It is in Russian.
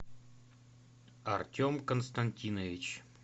артем константинович